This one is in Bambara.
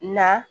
Na